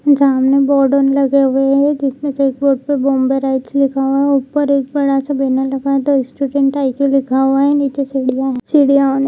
जमुई बॉर्डन लगा हुआ है जिसपे चेक बोर्ड पे बॉम्बे राइट्स लिखा हुआ है ऊपर एक बड़ा सा बैनर लगा हुआ है द स्टूडेंट आइकू लिखा हुआ है नीचे --